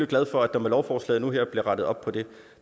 glad for at der med lovforslaget nu her bliver rettet op på det